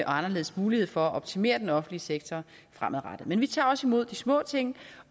anderledes mulighed for at optimere den offentlige sektor fremadrettet men vi tager også imod de små ting